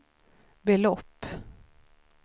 belopp